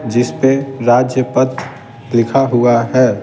जिसपे राज्य पद लिखा हुआ है।